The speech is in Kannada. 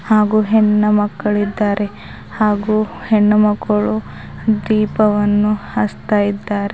ಹಾಗೂ ಹೆಣ್ಣು ಮಕ್ಕಳಿದ್ದಾರೆ ಹಾಗೂ ಹೆಣ್ಣು ಮಕ್ಕಳು ದೀಪವನ್ನು ಹಚ್ತಾ ಇದ್ದಾರೆ.